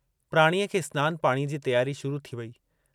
प्राणीअ खे स्नान पाणीअ जी तियारी शुरु थी वई।